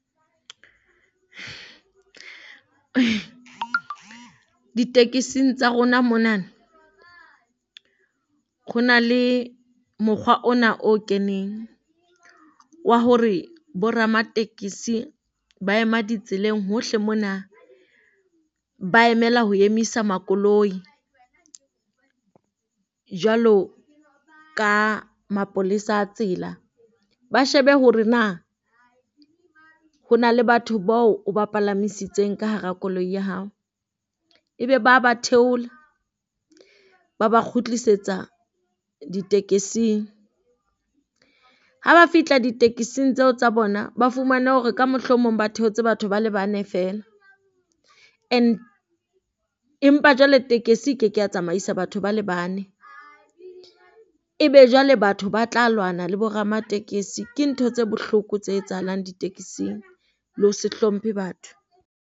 Ditekising tsa rona monana, kgo na le mokgwa ona o keneng wa hore bo ramatekesi ba ema ditseleng hohle mona ba emela ho emisa makoloi jwalo ka mapolesa a tsela. Ba shebe hore na ho na le batho bao o ba palamisitseng ka hara koloi ya hao. Ebe ba ba theole, ba ba kgutlisetsa ditekesing ha ba fihla ditekesing di tseo tsa bona, ba fumane hore ka mohlomong ba theotse batho ba le bane feela. And empa jwale tekesi e ke ke ya tsamaya isa batho ba le bane. Ebe jwale batho ba tla lwana le bo ramatekesi ke ntho tse bohloko tse etsahalang ditekesing le ho se hlomphe batho.